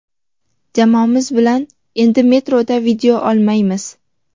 Jamoamiz bilan endi metroda video olmaymiz.